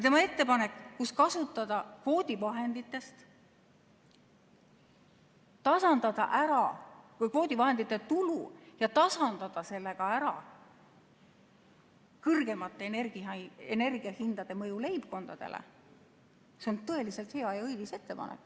Tema ettepanek kasutada ära kvoodivahendite tulu ja tasandada sellega ära kõrgemate energiahindade mõju leibkondadele on tõeliselt hea ja õilis ettepanek.